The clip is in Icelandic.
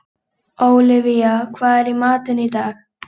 Olivia, hvað er í matinn?